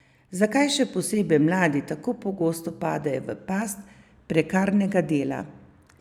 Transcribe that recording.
Zakaj, še posebej mladi, tako pogosto padejo v past prekarnega dela?